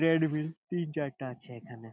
Trade wheel তিন চারটা আছে এখানে।